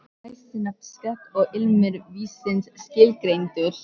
Því næst er nefið skerpt og ilmur vínsins skilgreindur.